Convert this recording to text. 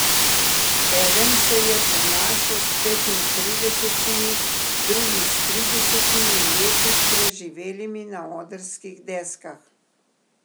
Eden se je ponašal s petintridesetimi, drugi s tridesetimi leti preživelimi na odrskih deskah.